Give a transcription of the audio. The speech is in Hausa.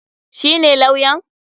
Shi ne lawyan?